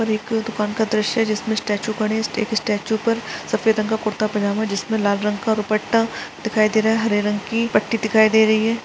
और एक दुकान का द्रश्य है जिसमें स्टेचू खड़े है स्टेचू पर सफ़ेद रंग का कुर्ता पजामा जिसमें लाल रंग का दुपट्टा दिखाई दे रहा है हरे रंग की पट्टी दिखाई दे रही है।